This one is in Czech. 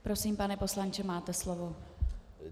Prosím, pane poslanče, máte slovo.